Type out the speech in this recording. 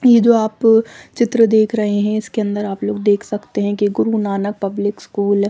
ये जो आप चित्र देख रहे हे इसके अंदर आप लोग देख सकते हे गुरु नानक पब्लिक स्कूल --